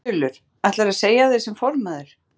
Þulur: Ætlarðu að segja af þér sem formaður?